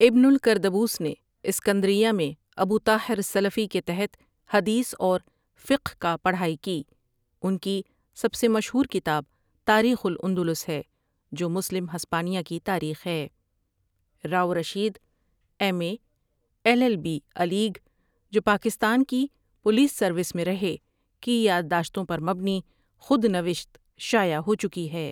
ابن الکردبوس نے اسکندریہ میں ابو طاہر السلفی کے تحت حدیث اور فقہ کا پؕرھائی کی ان کی سب سے مشہور کتاب تاریخ الاندلس ہے جو مسلم ہسپانیہ کی تاریخ ہے Rao Rashid, M A, L L B Alig جو پاکستان کی پولیس سروس میں رہے، کی یاداشتوں پر مبنی خودنوشت شائع ہو چکی ہے ۔